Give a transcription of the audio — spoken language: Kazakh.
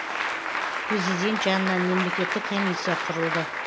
президент жанынан мемлекеттік комиссия құрылды